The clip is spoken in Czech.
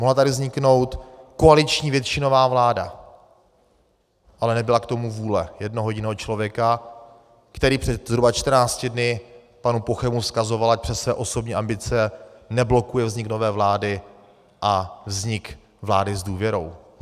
Mohla tady vzniknout koaliční většinová vláda, ale nebyla k tomu vůle jednoho jediného člověka, který před zhruba 14 dny panu Pochemu vzkazoval, ať přes své osobní ambice neblokuje vznik nové vlády a vznik vlády s důvěrou.